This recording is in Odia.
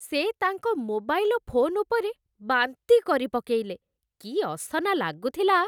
ସେ ତାଙ୍କ ମୋବାଇଲ ଫୋନ ଉପରେ ବାନ୍ତି କରିପକେଇଲେ । କି ଅସନା ଲାଗୁଥିଲା!